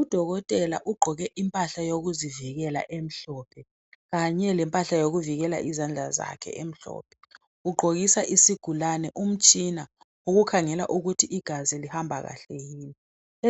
UDokotela ugqoke impahla yokuzivikela emhlophe kanye lempahla yokuvikela izandla zakhe emhlophe. Ugqokisa isigulane umtshina wokukhangela ukuthi igazi lihamba kahle yini